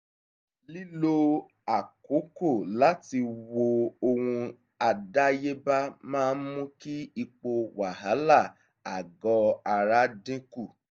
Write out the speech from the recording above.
lílo àkókò láti wo ohun àdáyéba máa ń mú kí ipò wàhálà ààgọ́ ara dín kù